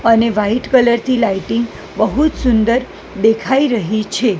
અને white colour થી lighting બહુત સુંદર દેખાય રહી છે.